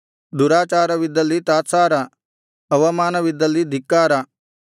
ದುರಾಚಾರವಿದ್ದಲ್ಲಿ ತಾತ್ಸಾರ ಅವಮಾನವಿದ್ದಲ್ಲಿ ಧಿಕ್ಕಾರ